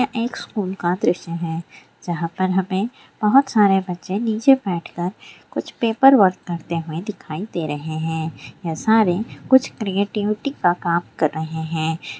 यह एक स्कूल का दृश्य है जहाँ पर हमें बहुत सारे बच्चे नीचे बैठ कर कुछ पेपरवर्क करते हुए दिखाई दे रहे हैं| यह सारे कुछ क्रिएटिविटी का काम कर रहे हैं|